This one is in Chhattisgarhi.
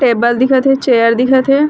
टेबल दिखत हे चेयर दिखत हे ।